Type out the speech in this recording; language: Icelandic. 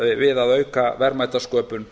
við að auka verðmætasköpun